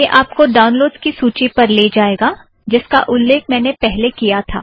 यह आपको डाउनलोड़स की सूची पर ले जाएगा जिसका उल्लेख मैंने पहले किया था